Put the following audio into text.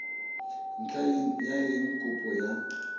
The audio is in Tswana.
ntlha ya eng kopo ya